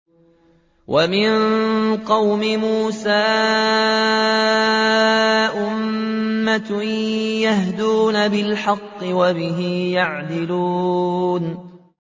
وَمِن قَوْمِ مُوسَىٰ أُمَّةٌ يَهْدُونَ بِالْحَقِّ وَبِهِ يَعْدِلُونَ